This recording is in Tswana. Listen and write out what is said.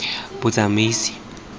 botsamaisi